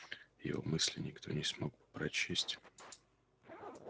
его мысли никто не смог бы прочесть